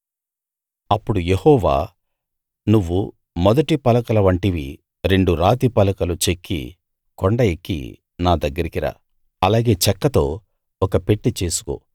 అప్పుడు యెహోవా నువ్వు మొదటి పలకల వంటివి రెండు రాతిపలకలు చెక్కి కొండ ఎక్కి నా దగ్గరికి రా అలాగే చెక్కతో ఒక పెట్టె చేసుకో